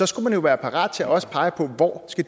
skulle man jo være parat til også at pege på hvor